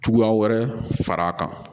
Cogoya wɛrɛ far'a kan